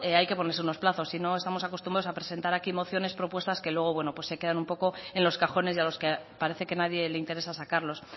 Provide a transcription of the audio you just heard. hay que ponerse unos plazos si no estamos acostumbrados a presentar aquí mociones propuestas que luego se quedan un poco en los cajones y a los que parece que nadie le interesa sacarlos